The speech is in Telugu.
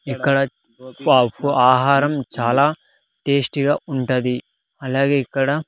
ఇక్కడ ఫా ఫో ఆహారం చాలా టేస్టీగా ఉంటది అలాగే ఇక్కడ--